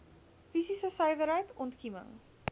fisiese suiwerheid ontkieming